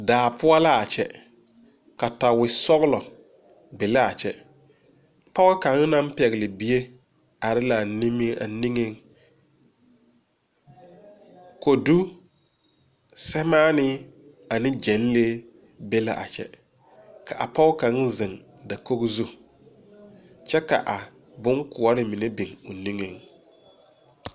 Daa poɔ laa kyɛ katawi sɔglɔ be laa kyɛ pɔɔ kaŋ naŋ pɛgle bie are laa nimie a niŋeŋ kodu, sɛmaanii ane gyenlee be la a kyɛ ka a pog kaŋ zeŋ dakogo zu kyɛ ka a bonkoɔre mine biŋ o niŋeŋ.